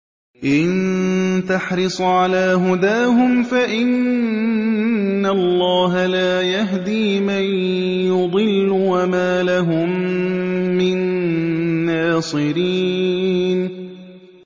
إِن تَحْرِصْ عَلَىٰ هُدَاهُمْ فَإِنَّ اللَّهَ لَا يَهْدِي مَن يُضِلُّ ۖ وَمَا لَهُم مِّن نَّاصِرِينَ